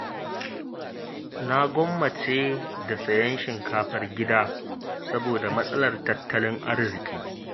Na gwammace da sayen shinkafar gida, saboda matsalar tattalin arziƙi.